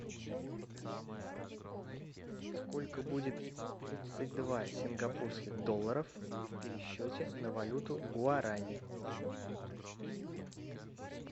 сколько будет тридцать два сингапурских долларов в пересчете на валюту гуарани